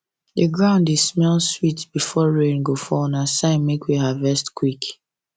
the ground dey smell sweet before rain go fall na sign make we harvest quick